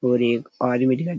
और एक आदमी दिखाई दे --